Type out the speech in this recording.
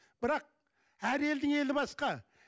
бірақ әр елдің елі басқа